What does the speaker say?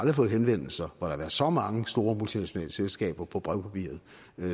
har fået henvendelser hvor der har været så mange store multinationale selskaber på brevpapiret